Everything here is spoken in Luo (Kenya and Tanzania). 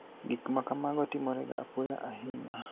Gik ma kamago timorega apoya ahiniya.